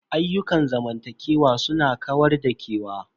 Ayyukan zamantakewa su na kawar da kewa.